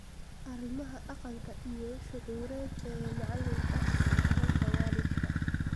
Arrimaha dhaqanka iyo shucuureed ee macalinka - isdhexgalka waalidka